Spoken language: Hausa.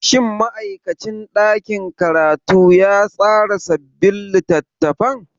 Shin ma'aikacin ɗakin karatu ya tsara sabbin littattafan?